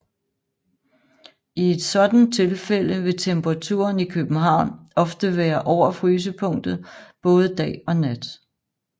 I et sådant tilfælde vil temperaturen i København ofte være over frysepunktet både dag og nat